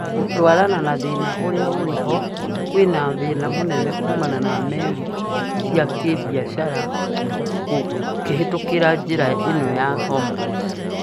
Gũtwarana na thĩna uria ũrihoo, kwĩna thĩna mũnene kũmana na meli ciakĩbiathara cikĩhĩtũkira njira ino ya Hormuz